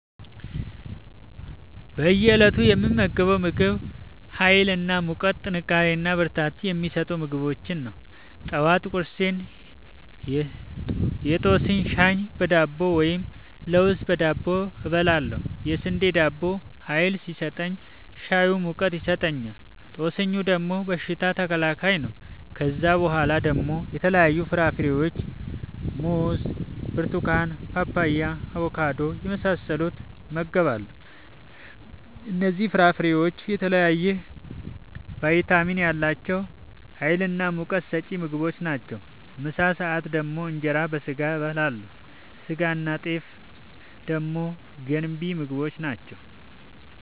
በእየ እለቱ የምመገበው ምግብ ሀይል እና ሙቀት ጥንካሬና ብርታት የሚሰጡ ምግቦችን ነው። ጠዋት ቁርሴን የጦስኝ ሻይ በዳቦ ወይም ለውዝ በዳቦ እበላለሁ። የስንዴ ዳቦው ሀይል ሲሰጠኝ ሻዩ ሙቀት ይሰጠኛል። ጦስኙ ደግሞ በሽታ ተከላካይ ነው። ከዛ በኋላ ደግሞ የተለያዩ ፍራፍሬዎችን(ሙዝ፣ ብርቱካን፣ ፓፓያ፣ አቦካዶ) የመሳሰሉትን እመገባለሁ እነዚህ ፍራፍሬዎች የተለያየ ቫይታሚን ያላቸው ሀይልናሙቀት ሰጪ ምግቦች ናቸው። ምሳ ሰአት ደግሞ እንጀራ በስጋ አበላለሁ ስጋናጤፍ ደግሞ ገንቢ ምግቦች ናቸው